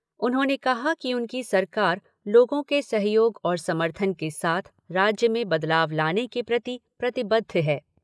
उन्होंने कहा कि उनकी सरकार लोगों के सहयोग और समर्थन के साथ राज्य में बदलाव लाने के प्रति प्रतिबद्ध है।